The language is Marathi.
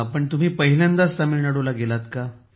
तुम्ही पहिल्यांदाच तामिळनाडूला गेलात का